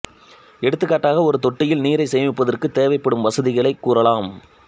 எடுத்துக்காட்டாக ஒரு தொட்டியில் நீரைச் சேமிப்பதற்குத் தேவைப்படும் வசதிகளைக் கூறலாம்